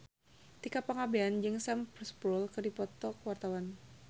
Tika Pangabean jeung Sam Spruell keur dipoto ku wartawan